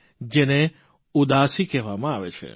જેને ઉદાસી કહેવામાં આવે છે